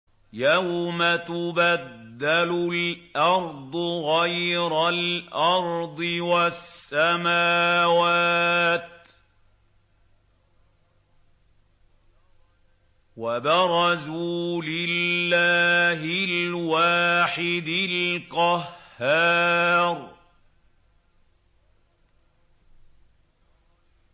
يَوْمَ تُبَدَّلُ الْأَرْضُ غَيْرَ الْأَرْضِ وَالسَّمَاوَاتُ ۖ وَبَرَزُوا لِلَّهِ الْوَاحِدِ الْقَهَّارِ